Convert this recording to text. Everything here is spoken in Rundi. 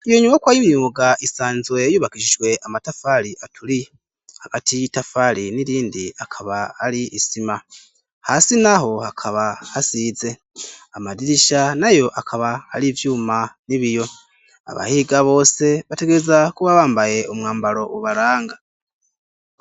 Iyo nyubakwa y' imyuga isanzwe yubakishijwe amatafari aturiye, hagati y'itafari n'irindi akaba ar'isima. Hasi n'aho hakaba hasize. Amadirisha n'ayo akaba ar'ivyuma n'ibiyo. Abahiga bose bategerezwa kuba bambaye umwambaro ubaranga.